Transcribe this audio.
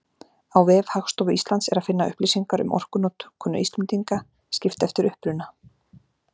Á vef Hagstofu Íslands er að finna upplýsingar um orkunotkun Íslendinga, skipt eftir uppruna.